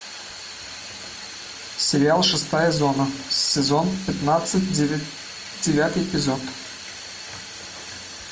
сериал шестая зона сезон пятнадцать девятый эпизод